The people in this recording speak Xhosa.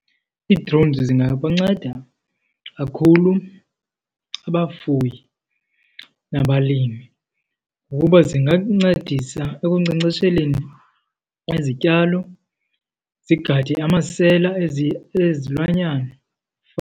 Ii-drones zingabanceda kakhulu abafuyi nabalimi ngokuba zingakuncedisa ekunkcenkcesheleni izityalo, zigade amasela ezilwanyana.